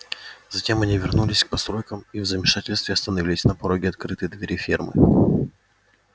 затем они вернулись к постройкам и в замешательстве остановились на пороге открытой двери фермы